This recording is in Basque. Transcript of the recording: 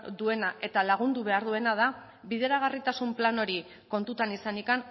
duena eta lagundu behar duena da bideragarritasun plan hori kontutan izanik